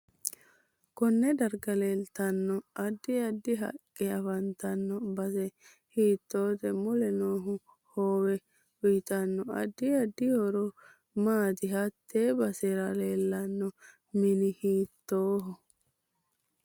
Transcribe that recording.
Konne darga leeltanno addi addi haaqe afantaano base hiitoote mule noo hoowe uyiitano addi addi horo maati hatte basera leelanno mini hiitooho